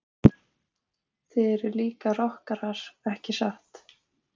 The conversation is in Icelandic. Þið eruð líka rokkarar ekki satt?